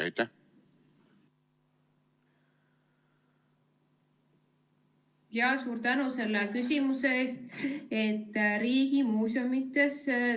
Suur tänu selle küsimuse eest!